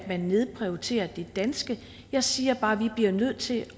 nedprioriterer det danske jeg siger bare at vi bliver nødt til